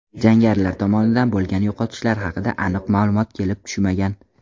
Jangarilar tomonidan bo‘lgan yo‘qotishlar haqida aniq ma’lumot kelib tushmagan.